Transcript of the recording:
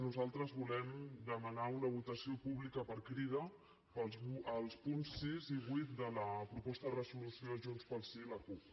nosaltres volem demanar una votació pública per crida per als punts sis i vuit de la proposta de resolució de junts pel sí i la cup